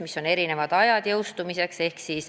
Tegu on erinevate jõustumisaegadega.